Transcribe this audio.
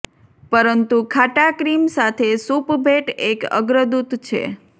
પરંતુ ખાટા ક્રીમ સાથે સૂપ ભેટ એક અગ્રદૂત છે